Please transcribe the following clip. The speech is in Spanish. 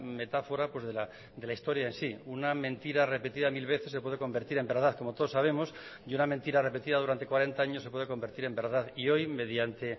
metáfora de la historia en sí una mentira repetida mil veces se puede convertir en verdad como todos sabemos y una mentira repetida durante cuarenta años se puede convertir en verdad y hoy mediante